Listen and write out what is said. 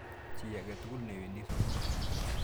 Chi ake tukul ne wendi sukul.